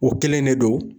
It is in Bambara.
O kelen de don